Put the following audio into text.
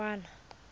khunwana